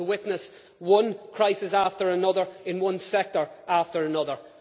We are going to witness one crisis after another in one sector after another.